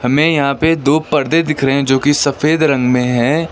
हमें यहां पे दो पर्दे दिख रहे हैं जोकि सफेद रंग में है।